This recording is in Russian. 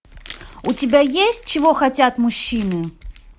у тебя есть чего хотят мужчины